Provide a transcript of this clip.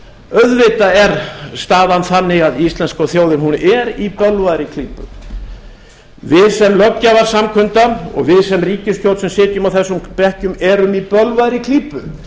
auðvitað er staðan þannig að íslenska þjóðin er í bölvaðri klípu við sem löggjafarsamkunda og við sem ríkisstjórn sem sitjum á þessum bekkjum erum í bölvaðri klípu